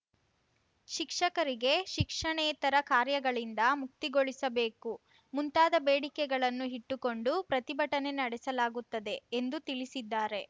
ಶಿಕ್ಷಕರಿಗೆ ಶಿಕ್ಷಣೇತರ ಕಾರ್ಯಗಳಿಂದ ಮುಕ್ತಿಗೊಳಿಸಬೇಕು ಮುಂತಾದ ಬೇಡಿಕೆಗಳನ್ನು ಇಟ್ಟುಕೊಂಡು ಪ್ರತಿಭಟನೆ ನಡೆಸಲಾಗುತ್ತದೆ ಎಂದು ತಿಳಿಸಿದ್ದಾರೆ